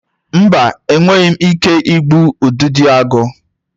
Mba, enweghị m ike igbu Udidoagu.